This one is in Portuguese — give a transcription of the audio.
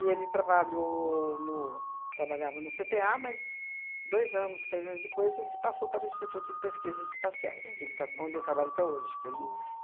E ele trabalhou no trabalhava no cê tê a, mas dois anos, três anos depois, ele passou para o Instituto de Pesquisas Espaciais, que ele está onde ele trabalha até hoje. Que ele